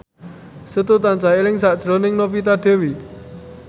Setu tansah eling sakjroning Novita Dewi